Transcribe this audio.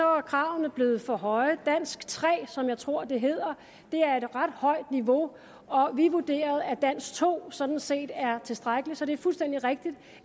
var kravene blevet for høje dansk tre som jeg tror det hedder er et ret højt niveau og vi vurderede at dansk to sådan set er tilstrækkeligt så det er fuldstændig rigtigt